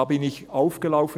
Da bin ich aufgelaufen.